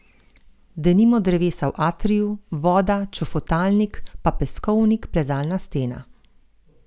Denimo drevesa v atriju, voda, čofotalnik, pa peskovnik, plezalna stena.